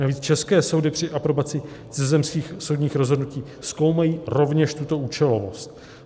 Navíc české soudy při aprobaci cizozemských soudních rozhodnutí zkoumají rovněž tuto účelovost.